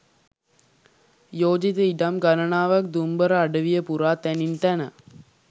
යෝජිත ඉඩම් ගණනාවක් දුම්බර අඩවිය පුරා තැනින් තැන